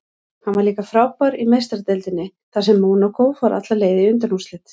Hann var líka frábær í Meistaradeildinni þar sem Mónakó fór alla leið í undanúrslit.